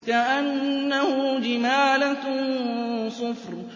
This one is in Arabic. كَأَنَّهُ جِمَالَتٌ صُفْرٌ